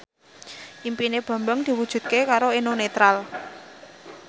impine Bambang diwujudke karo Eno Netral